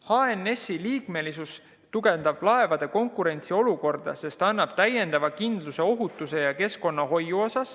HNS‑i liikmesus tugevdab laevade konkurentsiolukorda, sest annab täiendava kindluse ohutuses ja keskkonnahoius.